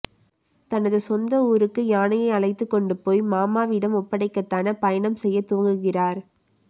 தனது சொந்த ஊருக்கு யானையை அழைத்துக் கொண்டு போய் மாமாவிடம் ஒப்படைக்கத் தானா பயணம் செய்யத் துவங்குகிறார்